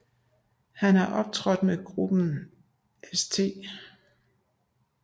Han har optrådt med gruppen St